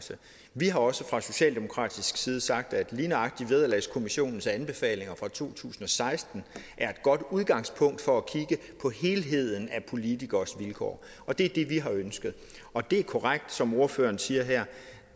vi har også fra socialdemokratisk side sagt at lige nøjagtig vederlagskommissionens anbefalinger fra to tusind og seksten er et godt udgangspunkt for at kigge på helheden af politikeres vilkår og det er det vi har ønsket og det er korrekt som ordføreren siger her